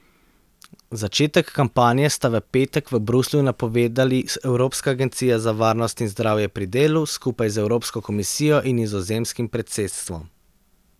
Začetek kampanje sta v petek v Bruslju napovedali Evropska agencija za varnost in zdravje pri delu skupaj z Evropsko komisijo in nizozemskim predsedstvom.